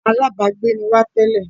Alábágbé ni wá tẹ́lẹ̀